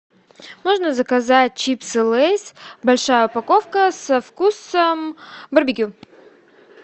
можно заказать чипсы лейс большая упаковка со вкусом барбекю